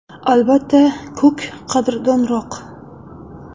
Albatta, ko‘k qadrdonroq.